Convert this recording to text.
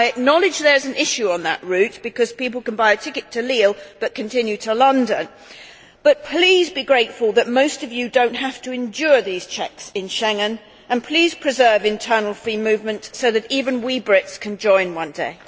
I acknowledge there is an issue on that route because people can buy a ticket to Lille but continue to London, but please be grateful that most of you do not have to endure these checks in Schengen and please preserve internal free movement so that even we Brits can join one day.